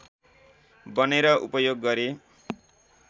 बनेर उपयोग गरे।